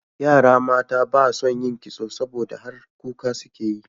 Yara mata ba son yin kitso, saboda har kuka suke yi.